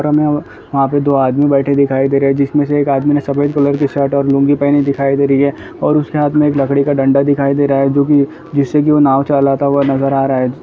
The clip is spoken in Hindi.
और हमें वहां पे दो आदमी बैठे दिखाई दे रहे हैजिसमे से एक आदमी ने सफ़ेद कलर की शर्ट और लुंगी पेहनी दिखाई दे रहे और उसके हाथ मे एक लकड़ी का डंडा दिखाई दे रहा है जो की जिससे की वो नाव चलाता हुआ नजर आ रहा है।